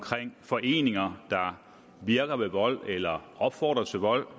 foreninger der virker ved vold eller opfordrer til vold